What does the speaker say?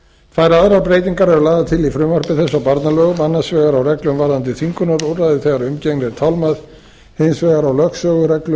þær aðrar breytingar eru lagðar til í frumvarpi þessu á barnalögum annars vegar á reglum varðandi þvingunarúrræði þegar umgengni er tálmað hins vegar á lögsögureglum